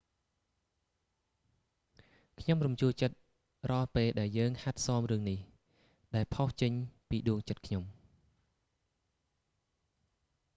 ខ្ញុំរំជួលចិត្តរាល់ ពេលដែលយើងហាត់សមរឿងនេះ ដែលផុសចេញពីដួងចិត្តខ្ញុំ